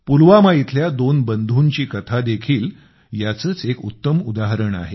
पुलवामा इथल्या दोन बंधूंची कथा देखील याचेच एक उत्तम उदाहरण आहे